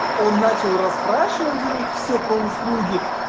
он начал расспрашивать у них все про услуги